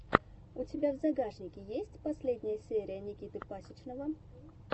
у тебя в загашнике есть последняя серия никиты пасичного